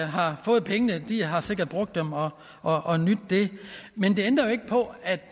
har fået pengene har sikkert brugt dem og og nydt det men det ændrer ikke på at